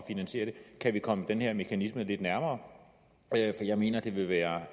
finansiere det kan vi komme den her mekanisme lidt nærmere jeg mener det vil være